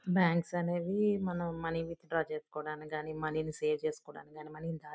banks అనేవి మనం money ని విత్డ్రా చేసుకోడానికి మనీ సేవ్ చేసుకోడానికి గని మనీ ని దాచు--